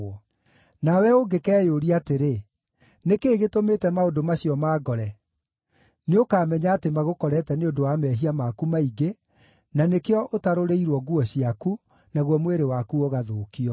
Nawe ũngĩkeyũria atĩrĩ, “Nĩ kĩĩ gĩtũmĩte maũndũ macio mangore?” Nĩũkamenya atĩ magũkorete nĩ ũndũ wa mehia maku maingĩ, na nĩkĩo ũtarũrĩirwo nguo ciaku, naguo mwĩrĩ waku ũgathũkio.